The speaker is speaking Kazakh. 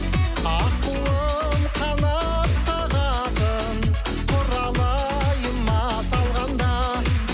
аққуым қанат қағатын құралайыма салғанда